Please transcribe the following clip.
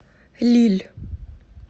лилль